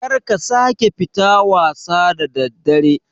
Karka sake fita wasa da daddare